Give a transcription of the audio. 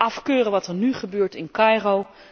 Afkeuren wat er nu gebeurt in Cairo?